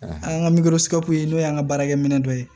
An ka n'o y'an ka baarakɛminɛ dɔ ye